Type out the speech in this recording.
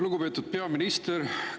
Lugupeetud peaminister!